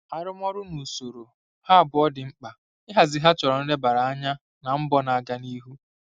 Arụmọrụ na usoro, ha abụọ dị mkpa; ịhazi ha chọrọ nlebara anya na mbọ na-aga n'ihu.